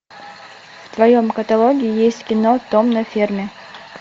в твоем каталоге есть кино том на ферме